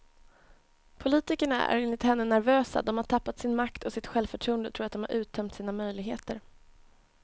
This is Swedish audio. Politikerna är enligt henne nervösa, de har tappat sin makt och sitt självförtroende och tror att de har uttömt sina möjligheter.